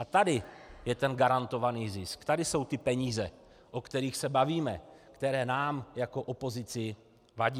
A tady je ten garantovaný zisk, tady jsou ty peníze, o kterých se bavíme, které nám jako opozici vadí.